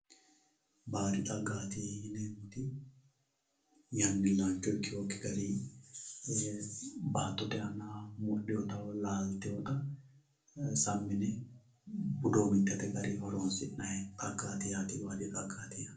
Baadi xaggati yineemmoti yannilicho ikkinokki garinni baattote aana mudhinotta woyi laaltewotta sammi yine budomitete garinni horonsi'nanni xaggati yaate baadi xagga yaa.